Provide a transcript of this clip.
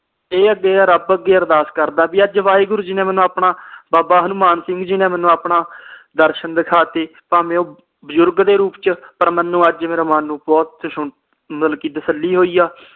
rub ਅੱਗੇ ਅਰਦਾਸ ਕਰਦਾ ਵੀ ਅੱਜ ਵਾਹਿਗੁਰੂ ਜੀ ਨੇ ਮੈਨੂੰ ਆਪਣਾ ਬਾਬਾ ਹਨੂਮਾਨ ਸਿੰਘ ਜੀ ਨੇ ਆਪਣਾ ਦਰਸ਼ਨ ਦਿਖਾਤੇ ਭਾਵੇ ਉਹ ਬਜ਼ੁਰਗ ਦੇ ਰੂਪ ਚ ਪਰ ਮੈਨੂੰ ਅੱਜ ਮੇਰੇ ਮਨ ਨੂੰ ਬਹੁਤ ਮਤਲਬ ਕੇ ਤਸੱਲੀ ਹੋਈ ਆ